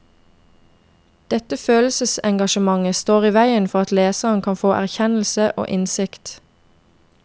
Dette følelsesengasjementet står i vegen for at leseren kan få erkjennelse og innsikt.